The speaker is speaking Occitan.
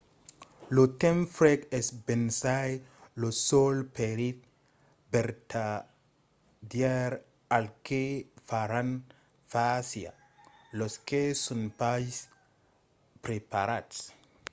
lo temps freg es bensai lo sol perilh vertadièr al que faràn fàcia los que son pas preparats